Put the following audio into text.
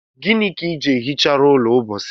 Gịnị ka iji ehicharụ ụlọ mposi a